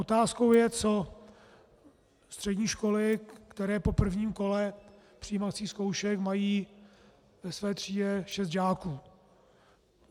Otázkou je, co střední školy, které po prvním kole přijímacích zkoušek mají ve své třídě šest žáků.